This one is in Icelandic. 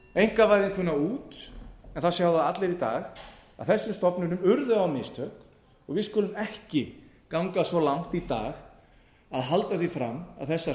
einkavæðinguna út en það sjá það allir í dag að þessum stofnunum urðu á mistök við skulum ekki ganga svo langt í dag að halda því fram að þessar